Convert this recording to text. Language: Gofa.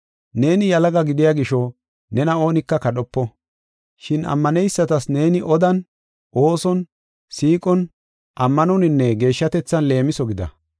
Neeni yalaga gidiya gisho, nena oonika kadhopo. Shin ammaneysatas neeni odan, ooson, siiqon, ammanoninne geeshshatethan leemiso gida.